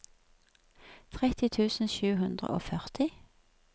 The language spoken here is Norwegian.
tretti tusen sju hundre og førti